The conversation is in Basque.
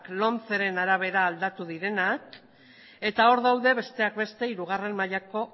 lomceren arabera aldatu direnak eta hor daude besteak beste hirugarren mailako